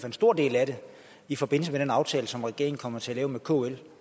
en stor del af den i forbindelse med den aftale som regeringen kommer til at lave med kl